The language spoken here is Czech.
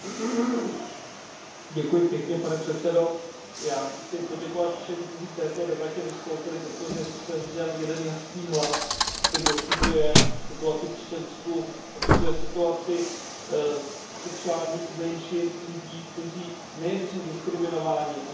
Já chci poděkovat všem, kteří v této debatě vystoupili, protože zde zněl jeden jasný hlas, který odsuzuje situaci v Čečensku, odsuzuje situaci sexuálních menšin, lidí, kteří nejenže jsou diskriminováni, ale v tuto chvíli jsou ohroženi na životě a na zdraví.